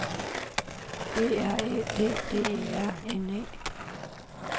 B R Æ D D E R N E